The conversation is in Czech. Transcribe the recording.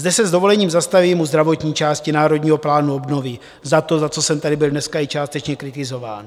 Zde se s dovolením zastavím u zdravotní části Národního plánu obnovy - za to, za co jsem tady byl dneska i částečně kritizován.